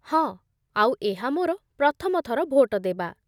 ହଁ, ଆଉ ଏହା ମୋର ପ୍ରଥମ ଥର ଭୋଟଦେବା